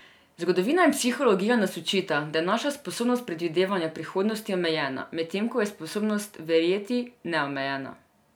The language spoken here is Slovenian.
Zgodovina in psihologija nas učita, da je naša sposobnost predvidevanja prihodnosti omejena, medtem ko je sposobnost verjeti neomejena.